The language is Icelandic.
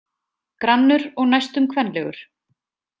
Grannur og næstum kvenlegur.